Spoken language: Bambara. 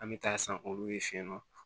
An bɛ taa san olu ye fɛ yen nɔ